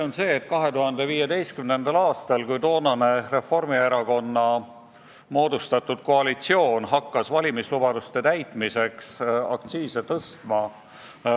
Nimelt 2015. aastasse, kui toonane Reformierakonna moodustatud koalitsioon hakkas valimislubaduste täitmiseks aktsiise tõstma.